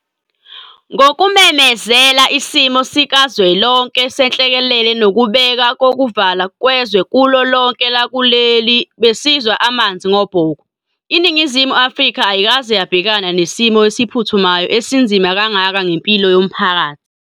Ngokumemezela isimo sikazwelonke senhlekelele nokubeka kokuvalwa kwezwe kulo lonke lakuleli besizwa amanzi ngobhoko. INingizimu Afrika ayikaze yabhekana nesimo esiphuthumayo esinzima kangaka ngempilo yomphakathi.